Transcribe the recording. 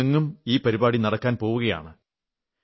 രാജ്യമെങ്ങും ഈ പരിപാടി നടക്കാൻ പോകയാണ്